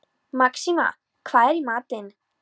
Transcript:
Maxima, hvað er í matinn?